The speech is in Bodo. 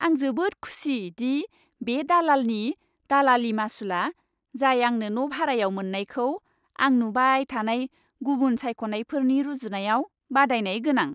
आं जोबोद खुसि दि बे दालालनि दालालि मासुलआ, जाय आंनो न' भारायाव मोननायखौ आं नुबाय थानाय गुबुन सायख'नायफोरनि रुजुनायाव बादायनाय गोनां।